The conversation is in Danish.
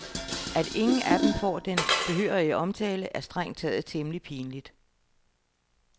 At ingen af dem får den behørige omtale, er strengt taget temmelig pinligt.